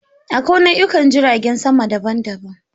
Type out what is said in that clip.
Akwai nau'ikan jiragen sama daban-daban.